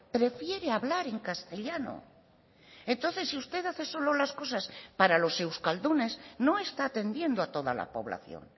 prefiere hablar en castellano entonces si usted hace solo las cosas para los euskaldunes no está atendiendo a toda la población